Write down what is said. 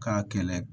K'a kɛlɛ